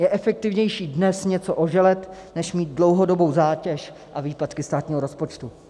Je efektivnější dnes něco oželet než mít dlouhodobou zátěž a výpadky státního rozpočtu.